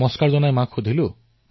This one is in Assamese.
মই সেই মাতৃক প্ৰণাম কৰিলো